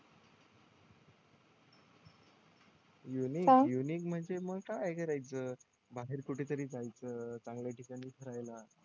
unique unique म्हणजे मग काय करायचं बाहेर कुठतरी जायचं चांगल्या ठिकाणी फिरायला